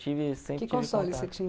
Que console você tinha?